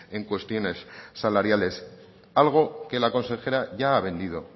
en cuestiones salariales algo que la consejera ya ha vendido